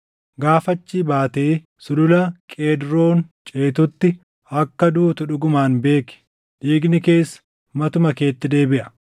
Gaafa achii baatee Sulula Qeedroon ceetutti akka duutu dhugumaan beeki; dhiigni kees matuma keetti deebiʼa.”